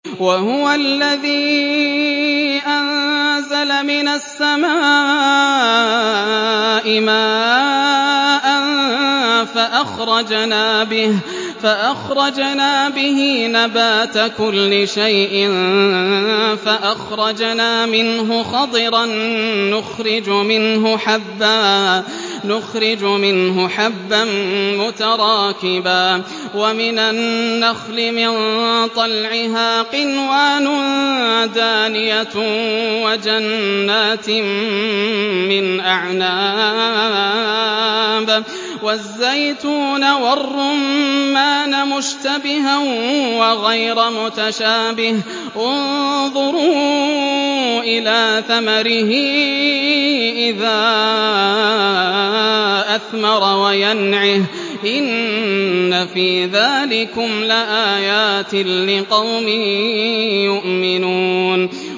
وَهُوَ الَّذِي أَنزَلَ مِنَ السَّمَاءِ مَاءً فَأَخْرَجْنَا بِهِ نَبَاتَ كُلِّ شَيْءٍ فَأَخْرَجْنَا مِنْهُ خَضِرًا نُّخْرِجُ مِنْهُ حَبًّا مُّتَرَاكِبًا وَمِنَ النَّخْلِ مِن طَلْعِهَا قِنْوَانٌ دَانِيَةٌ وَجَنَّاتٍ مِّنْ أَعْنَابٍ وَالزَّيْتُونَ وَالرُّمَّانَ مُشْتَبِهًا وَغَيْرَ مُتَشَابِهٍ ۗ انظُرُوا إِلَىٰ ثَمَرِهِ إِذَا أَثْمَرَ وَيَنْعِهِ ۚ إِنَّ فِي ذَٰلِكُمْ لَآيَاتٍ لِّقَوْمٍ يُؤْمِنُونَ